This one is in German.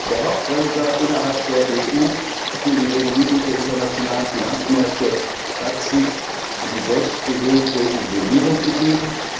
Der Hauptbremser innerhalb der EU für die Regulierung der internationalen Finanzmärkte hat sich in die selbstgewählte Isolierung begeben.